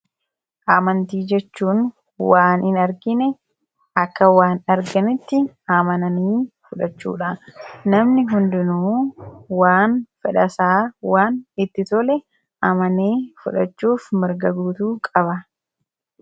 amantii jechuun waan in argine akka waan arginitti amananii fudhachuudha namni hundinuu waan fedhasaa waan itti tole amananii fudhachuuf mirga guutuu qaba.